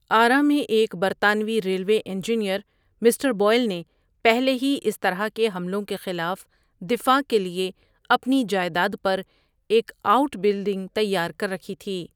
آرہ میں ایک برطانوی ریلوے انجینئر مسٹر بوئل نے پہلے ہی اس طرح کے حملوں کے خلاف دفاع کے لیے اپنی جائیداد پر ایک آؤٹ بلڈنگ تیار کر رکھی تھی۔